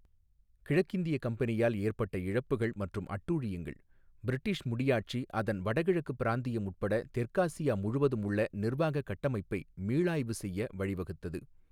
கிழக்கிந்திய கம்பெனியால் ஏற்பட்ட இழப்புகள் மற்றும் அட்டூழியங்கள், பிரிட்டிஷ் முடியாட்சி அதன் வடகிழக்கு பிராந்தியம் உட்பட தெற்காசியா முழுவதும் உள்ள நிர்வாக கட்டமைப்பை மீளாய்வு செய்ய வழிவகுத்தது.